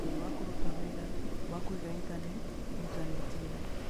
Mũhothi wa Kũruta Wĩra wa Kũiga Intaneti Intaneti-inĩ